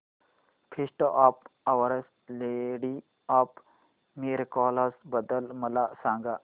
feast of Our Lady of Miracles बद्दल मला सांगा